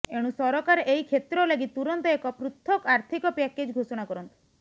ଏଣୁ ସରକାର ଏହି କ୍ଷେତ୍ର ଲାଗି ତୁରନ୍ତ ଏକ ପୃଥକ ଆର୍ଥିକ ପ୍ୟାକେଜ ଘୋଷଣା କରନ୍ତୁ